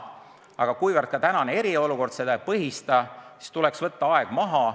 Aga kuna ka tänane eriolukord seda ei põhista, siis tuleks võtta aeg maha.